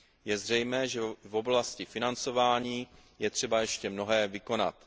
Je zřejmé, že v oblasti financování je třeba ještě mnohé vykonat.